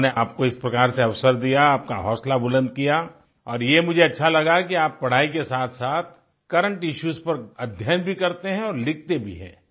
उन्होंने आपको इस प्रकार से अवसर दिया हौसला बुलन्द किया और ये मुझे अच्छा लगा कि आप पढाई के साथसाथ करेंट इश्यूज पर अध्ययन भी करते हैं और लिखते भी हैं